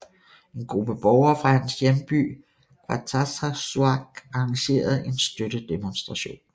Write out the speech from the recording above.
En gruppe borgere fra hans hjemby Qeqertarsuaq arrangerede en støttedemostration